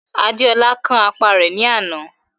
Adéolú kán apá rẹ̀ ní àná.